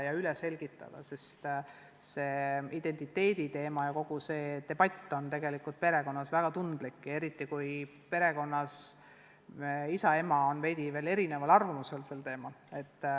Kõik tuleb üle selgitada, sest identiteediteema on tegelikult peredes väga tundlik teema, eriti siis, kui isa ja ema on erineval arvamusel.